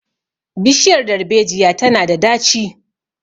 bishiyar darbejiyar tana da daci